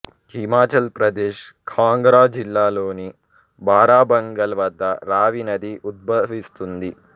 హిమాచల్ ప్రదేశ్ కాంగ్రా జిల్లా లోని బారా భంగల్ వద్ద రావి నది ఉద్భవిస్తుంది